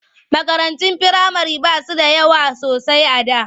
Makarantun firamare ba su da yawa sosai a da.